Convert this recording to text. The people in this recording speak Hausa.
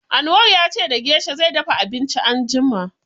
Anwar ya ce da gesha zai dafa abinci anjima.